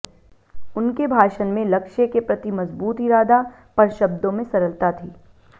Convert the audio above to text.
उनके भाषण में लक्ष्य के प्रति मज़बूत इरादा पर शब्दों में सरलता थी